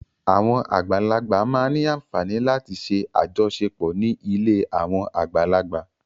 Àwọn àgbàlagbà máa ń ní àfààní láti ṣe àjọṣepọ̀ ní ilé àwọn àgbàlagbà.